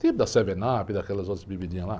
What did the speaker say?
Tipo da, daquelas outras bebidinhas lá.